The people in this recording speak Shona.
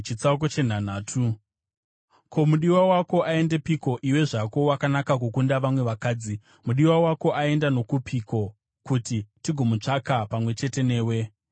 Ko, mudiwa wako aendepiko, iwe zvako wakanaka kukunda vamwe vakadzi? Mudiwa wako aenda nokupiko, kuti tigomutsvaka pamwe chete newe?